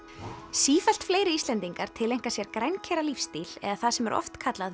sífellt fleiri Íslendingar tileinka sér eða það sem er oft kallað